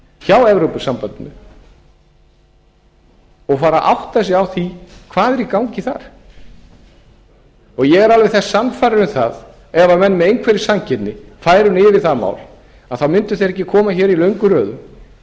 hjá evrópusambandinu og fara að átta sig á því hvað er í gangi þar ég er alveg sannfærður um það að ef menn með einhverri sanngirni færu nú yfir það mál þá mundu þeir ekki koma hér í löngum röðum og